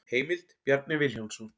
Heimild: Bjarni Vilhjálmsson.